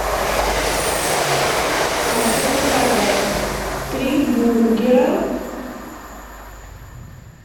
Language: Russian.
хочу заказать три бургера